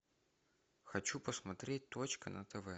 хочу посмотреть точка на тв